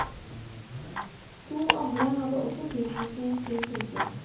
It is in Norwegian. To andre hadde også tilknytning til fylket.